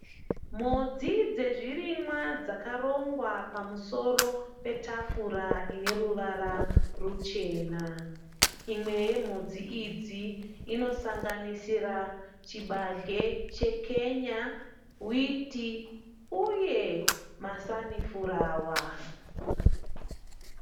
Mhodzi dzezvirimwe dzakarongwa pamusoro petafura ineruvara ruchena imwe yemhodzi idzi inosanganisira chibage chekenya witi uye masanifurawa